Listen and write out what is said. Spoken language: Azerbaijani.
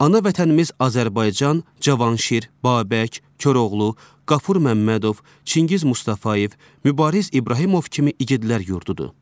Ana vətənimiz Azərbaycan Cavanşir, Babək, Koroğlu, Qafur Məmmədov, Çingiz Mustafayev, Mübariz İbrahimov kimi igidlər yurdudur.